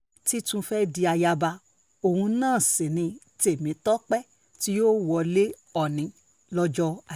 ti tún fẹ́ di ayaba òun náà sí ní tèmítọ́pẹ́ tí yóò wọlé òòní lọ́jọ́